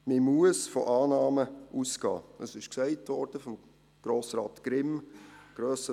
Man muss von Annahmen ausgehen, das wurde von Grossrat Grimm gesagt.